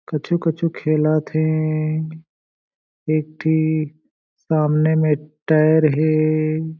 कुछु-कुछु खेलत हे एक ठी सामने में टायर हें।